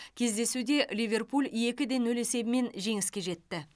кездесуде ливерпуль екі де нөл есебімен жеңіске жетті